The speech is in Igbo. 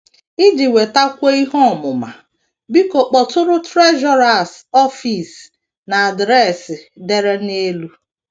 Iji nwetakwuo ihe ọmụma, biko kpọtụrụ Treasurer’s Office n’adres e dere n’elu.